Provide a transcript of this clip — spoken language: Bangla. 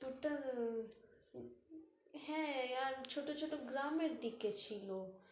ওটা না, হ্যাঁ, আর ছোটো ছোটো গ্রামের দিকে ছিল